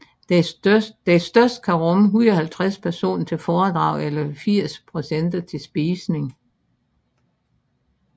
Den største kan rumme 150 personer til foredrag eller 80 personer til spisning